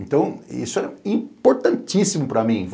Então, isso é importantíssimo para mim.